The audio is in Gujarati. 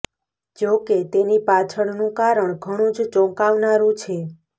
જો કે તેની પાછળનું કારણ ઘણુ જ ચોંકાવનારુ છે